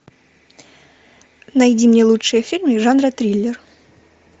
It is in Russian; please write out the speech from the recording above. найди мне лучшие фильмы жанра триллер